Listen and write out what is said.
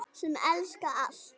Sem elskaði allt.